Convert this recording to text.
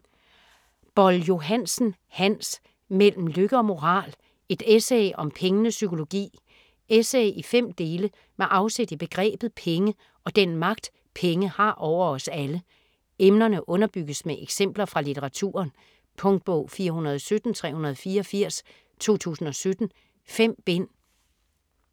Boll-Johansen, Hans: Mellem lykke og moral: et essay om pengenes psykologi Essay i fem dele med afsæt i begrebet penge og den magt penge har over os alle. Emnerne underbygges med eksempler fra litteraturen. Punktbog 417384 2017. 5 bind.